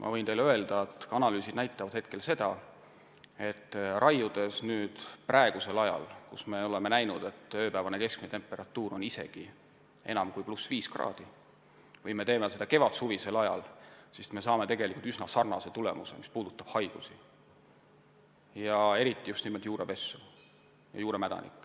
Ma võin teile öelda, et analüüsid näitavad hetkel seda, et raiudes praegu, kui ööpäevane keskmine temperatuur on isegi enam kui +5 kraadi, või tehes seda kevadsuvisel ajal, saame üsna sarnase tulemuse, mis puudutab haigusi, eriti just juurepessu.